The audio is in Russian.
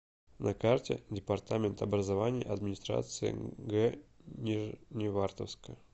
на карте департамент образования администрации г нижневартовска